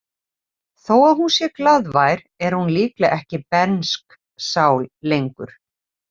Þó að hún sé glaðvær er hún líklega ekki bernsk sál lengur.